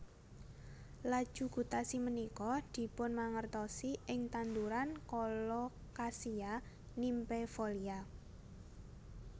Laju gutasi ménika dipunmangertosi ing tanduran Colocasia nymphefolia